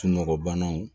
Sunɔgɔ banaw